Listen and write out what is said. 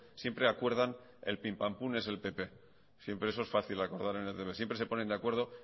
siempre acuerdan el pimpampum es el pp siempre eso es fácil acordar en etb siempre se ponen de acuerdo